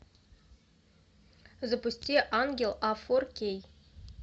запусти ангел а фор кей